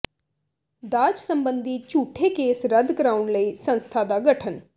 ਦਾਜ ਸਬੰਧੀ ਝੂਠੇ ਕੇਸ ਰੱਦ ਕਰਾਉਣ ਲਈ ਸੰਸਥਾ ਦਾ ਗਠਨ